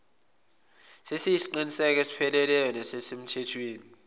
siyisiqinisekiso esipheleleyo nesisemthethweni